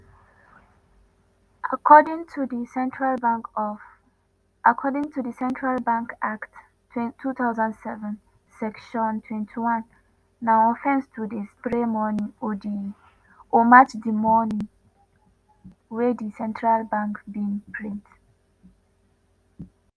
according to di central bank act 2007 (section 21) na offence to dey spray money or match di money wey di central bank bin print.)